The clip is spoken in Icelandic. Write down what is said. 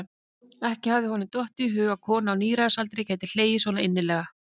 Ekki hafði honum dottið í hug að kona á níræðisaldri gæti hlegið svo innilega.